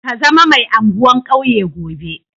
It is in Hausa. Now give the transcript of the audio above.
Ka zama mai anguwan kauye gobe.